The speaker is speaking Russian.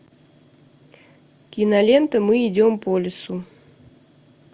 кинолента мы идем по лесу